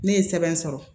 Ne ye sɛbɛn sɔrɔ